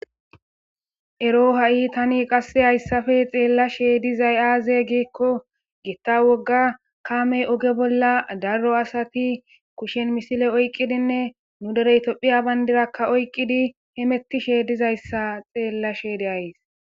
Ero ha'i tani qasse hayssafe xeellasheydizay aaze giekko gitta wogga kaamey oge bolla darro asati kushen misile oyqqidinne nu dereytopphiya bayndirakka oyqqidi hemettishe dizayssa xeellasheyde ays